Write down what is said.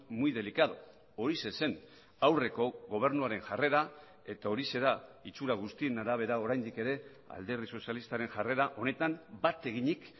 muy delicado horixe zen aurreko gobernuaren jarrera eta horixe da itxura guztien arabera oraindik ere alderdi sozialistaren jarrera honetan bat eginik